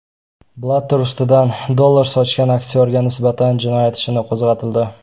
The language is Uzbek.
Blatter ustidan dollar sochgan aktyorga nisbatan jinoyat ishi qo‘zg‘atildi.